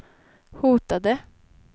hotade